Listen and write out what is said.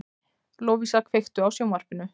Lovísa, kveiktu á sjónvarpinu.